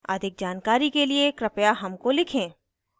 अधिक जानकारी के लिए कृपया हमको लिखें